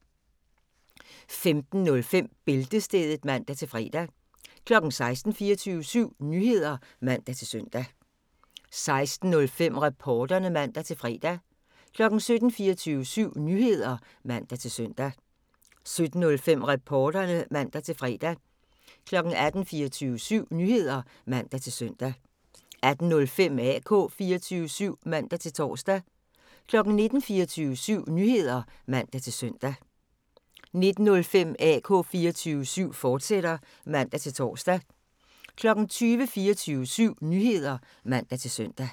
15:05: Bæltestedet (man-fre) 16:00: 24syv Nyheder (man-søn) 16:05: Reporterne (man-fre) 17:00: 24syv Nyheder (man-søn) 17:05: Reporterne (man-fre) 18:00: 24syv Nyheder (man-søn) 18:05: AK 24syv (man-tor) 19:00: 24syv Nyheder (man-søn) 19:05: AK 24syv, fortsat (man-tor) 20:00: 24syv Nyheder (man-søn)